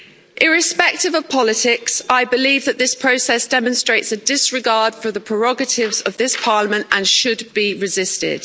Irrespective of politics, I believe that this process demonstrates a disregard for the prerogatives of this Parliament and should be resisted.